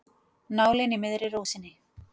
Nálin í miðri rósinni.